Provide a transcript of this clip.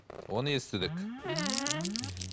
оны естідік мхм